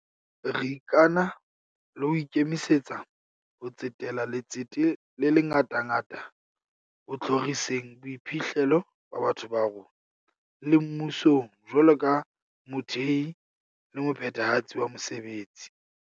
Re ikana le ho ikemisetsa ho tsetela letsete le ngatangata ho tjhoriseng boiphihlelo ba batho ba rona, le mmusong jwalo ka mothehi le mophethahatsi wa mesebetsi.